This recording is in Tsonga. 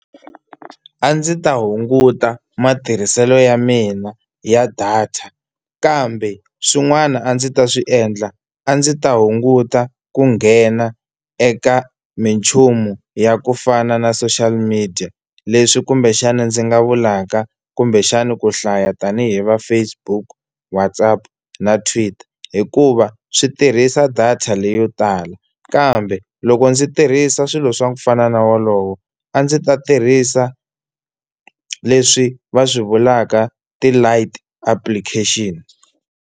A ndzi ta hunguta matirhiselo ya mina ya data kambe swin'wana a ndzi ta swi endla, a ndzi ta hunguta ku nghena eka minchumu ya ku fana na social media, leswi kumbexana ndzi nga vulaka kumbexani ku hlaya tani hi va Facebook, WhatsApp na Twitter hikuva swi tirhisa data leyo tala. Kambe loko ndzi tirhisa swilo swa kufana na wolowo a ndzi ta tirhisa leswi va swi vulaka ti-Light Application.